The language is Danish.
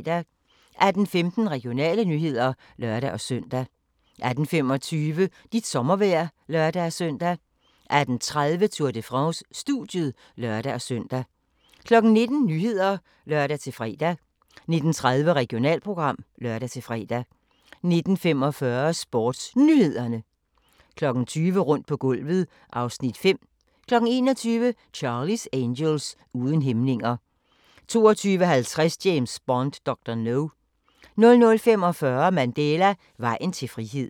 18:15: Regionale nyheder (lør-søn) 18:25: Dit sommervejr (lør-søn) 18:30: Tour de France: Studiet (lør-søn) 19:00: Nyhederne (lør-fre) 19:30: Regionalprogram (lør-fre) 19:45: SportsNyhederne 20:00: Rundt på gulvet (Afs. 5) 21:00: Charlie's Angels: Uden hæmninger 22:50: James Bond: Dr. No 00:45: Mandela: Vejen til frihed